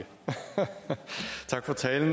tak for talen